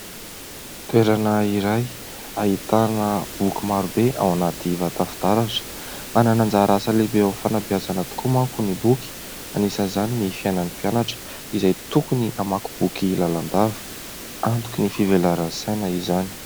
Toerana iray ahitana boky maro be ao anaty vata fitaratra. Manana anjara asa lehibe eo amin'ny fanabeazana tokoa manko ny boky ; anisan'izany ny fiainan'ny mpianatra izay tokony hamaky boky lalandava, antoky ny fivelaran'ny saina izany.